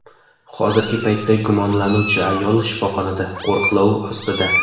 Hozirgi paytda gumonlanuvchi ayol shifoxonada qo‘riqlov ostida.